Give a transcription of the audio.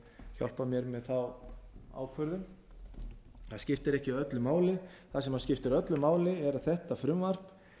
hjálpa mér með þá ákvörðun það skiptir ekki öllu máli það sem skiptir öllu máli er að þetta frumvarp